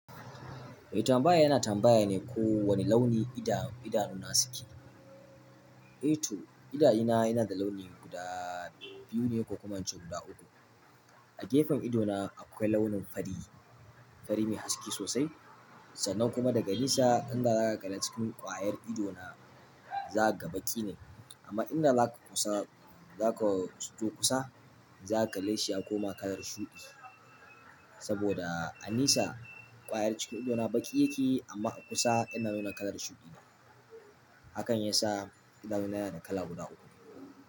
Mai tambaya yana tambaya ne ko wane launi idanuna suke. Eh to idanuna yana da launi guda biyu ne ko kuma in ce guda uku. A gefen idona akwai launin fari, fari mai haske sosai sannan kuma daga nesa inda za ka kalla cikin ƙwayar idona za ka ga baƙi ne. Amma inda za ka kusa, za ka zo kusa za ka kalle shi ya koma kalar shuɗi. Saboda a nesa ƙwayar cikin idona baƙi yake yi amma a kusa yana nuna kalar shuɗi. Hakan ya sa idanuna yana da kala guda uku.